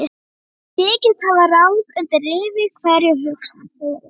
Hann þykist hafa ráð undir rifi hverju, hugsaði Friðrik.